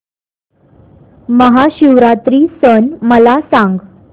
महाशिवरात्री सण मला सांग